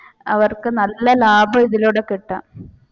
അവർക്ക് നല്ല ലാഭം ഇതിലൂടെ കിട്ടുന്നുണ്ട്.